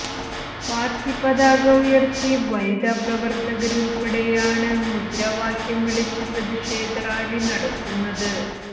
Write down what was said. party പതാക ഉയര്ത്തി വനിത പ്രവര്ത്തകര് ഉള്പ്പെടെയാണ് മുദ്രാവാക്യം വിളിച്ച് പ്രതിഷേധ റാലി നടത്തുന്നത്